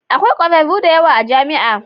Akwai kwararru da yawa a jami'a.